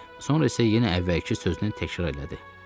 Sonra isə yenə əvvəlki sözünü təkrar elədi.